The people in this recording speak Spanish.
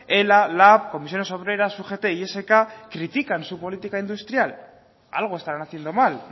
ela lab comisiones obreras ugt y esk critican su política industrial algo estarán haciendo mal